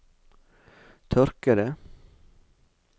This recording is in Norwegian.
tørkede